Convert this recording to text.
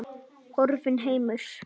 Horfinn heimur.